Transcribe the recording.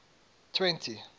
twenty